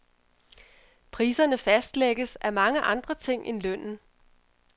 Priserne fastlægges af mange andre ting end lønnen.